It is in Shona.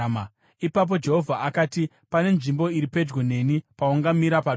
Ipapo Jehovha akati, “Pane nzvimbo iri pedyo neni paungamira padombo.